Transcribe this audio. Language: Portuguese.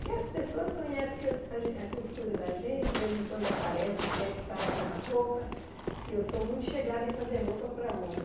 Porque as pessoas conhecem que a gen a costura da gente, de vez em quando aparece e quer que faça uma roupa, e eu sou muito chegada em fazer roupa para homem.